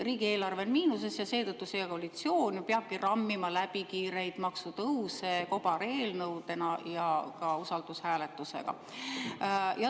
Riigieelarve on miinuses ja seetõttu see koalitsioon peabki rammima läbi kiireid maksutõuse kobareelnõudena ja ka usaldushääletusega.